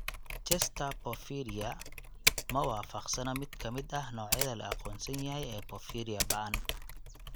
Chester porphyria ma waafaqsana mid ka mid ah noocyada la aqoonsan yahay ee porphyria ba'an.